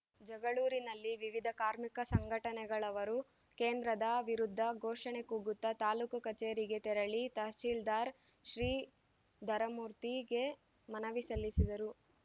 ಜಗಳೂರಿನಲ್ಲಿ ವಿವಿಧ ಕಾರ್ಮಿಕ ಸಂಘಟನೆಗಳವರು ಕೇಂದ್ರದ ವಿರುದ್ಧ ಘೋಷಣೆ ಕೂಗುತ್ತ ತಾಲೂಕು ಕಚೇರಿಗೆ ತೆರಳಿ ತಹಶೀಲ್ದಾರ್‌ ಶ್ರೀಧರಮೂರ್ತಿಗೆ ಮನವಿ ಸಲ್ಲಿಸಿದರು